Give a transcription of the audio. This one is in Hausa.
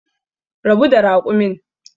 Rabu da raƙumin